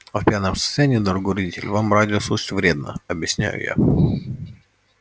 а в пьяном состоянии дорогой родитель вам радио слушать вредно объясняю я